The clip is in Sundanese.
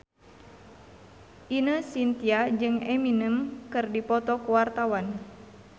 Ine Shintya jeung Eminem keur dipoto ku wartawan